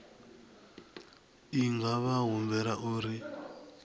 i nga vha humbela uri